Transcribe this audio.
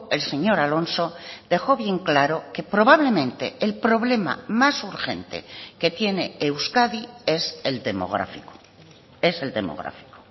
el señor alonso dejó bien claro que probablemente el problema más urgente que tiene euskadi es el demográfico es el demográfico